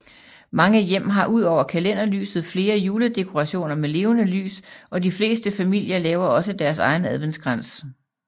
Mange hjem har ud over kalenderlyset flere juledekorationer med levende lys og de fleste familier laver også deres egen adventskrans